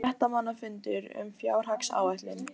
Fréttamannafundur um fjárhagsáætlun